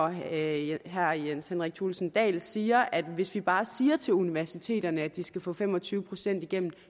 herre jens henrik thulesen dahl siger at hvis vi bare siger til universiteterne at de skal få fem og tyve procent igennem